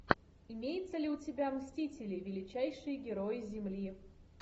имеется ли у тебя мстители величайшие герои земли